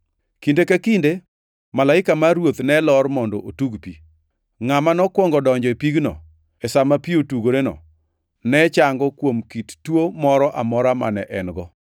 Kinde ka kinde malaika mar Ruoth ne lor mondo otug pi. Ngʼama nokwongo donjo e pigno sa ma otugoreno ne chango kuom kit tuo moro amora mane en-go]. + 5:4 Loko moko machon mag Muma onge gi giko mar \+xt 5:3\+xt* kod \+xt 5:4\+xt* duto.